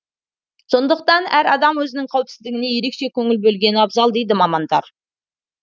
сондықтан әр адам өзінің қауіпсіздігіне ерекше көңіл бөлгені абзал дейді мамандар